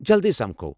جلدی سمکھو!